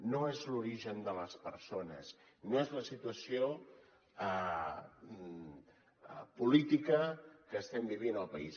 no és l’origen de les persones no és la situació política que estem vivint al país